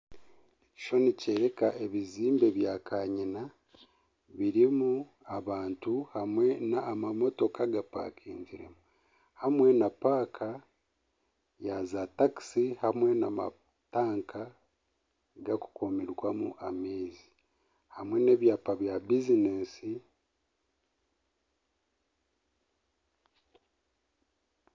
Ekishushani nikyoreka ebizimbe bya kanyina birimu abantu hamwe n'amamotoka gapakingiremu hamwe na paaka ya zaatakisi hamwe na matanka gakukuumirwamu amaizi hamwe n'ebyapa bya bizineesi.